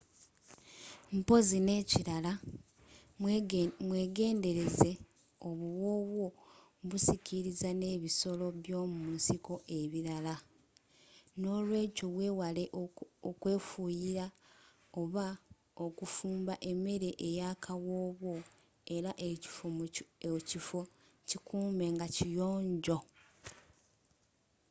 mpozi nekilala mwegendeleza obuwoowo busikiriza n'ebisoro byomunsiko ebirala n'olweekyo wewale okwefuuyira oba okufumba emere eyakawoowo era ekifo kikuume nga kiyonjo